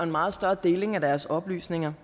meget større deling af deres oplysninger